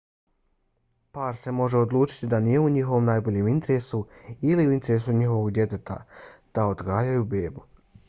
par se može odlučiti da nije u njihovom najboljem interesu ili u interesu njihovog djeteta da odgajaju bebu